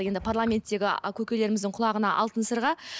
енді парламанттегі а көкелеріміздің құлағына алтын сырға